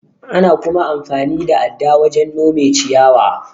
Ana kuma amfani da adda wajen nome ciyawa.